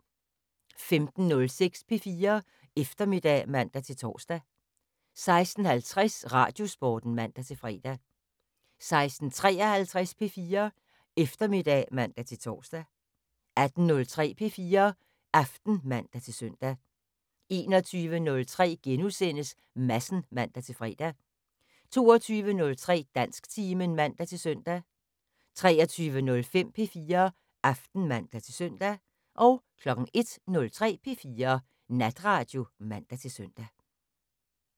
15:06: P4 Eftermiddag (man-tor) 16:50: Radiosporten (man-fre) 16:53: P4 Eftermiddag (man-tor) 18:03: P4 Aften (man-søn) 21:03: Madsen *(man-fre) 22:03: Dansktimen (man-søn) 23:05: P4 Aften (man-søn) 01:03: P4 Natradio (man-søn)